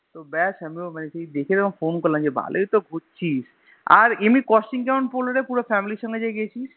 তো ব্যাস আমি তো মানে সেই দেখেই Phone করলাম যে ভালোইতো ঘুরছিস আর এমনি Costing কেমন পড়লো রে পুরো Family এর সঙ্গে যে গেছিস